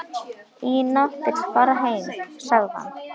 Ína vill fara heim, sagði hann.